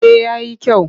Eh ya yi kyau.